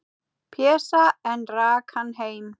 Pésa, en rak hann heim.